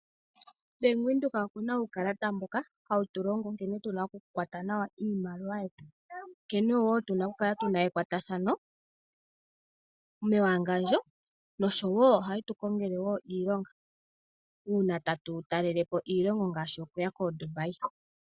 Bank Windhoek okuna uukalata mboka hawu tu longe nkene tuna oku kwata nawa iimaliwa yetu, nkene woo tuna oku kala tuna ekwatathano mewangandjo nosho woo ohaye tu kongelwa woo iilonga, uuna tatu talele po iilonga ngaashi okuya kooDurbai.